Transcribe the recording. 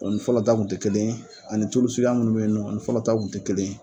o ni fɔlɔ ta tun te kelen ye ani tulu suguya minnu be yen nɔ o ni fɔlɔ ta tun te kelen